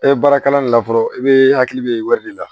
E baara kalan de la fɔlɔ i bɛ hakili bɛ wɔri de la